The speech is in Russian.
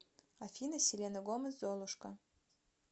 афина селена гомес золушка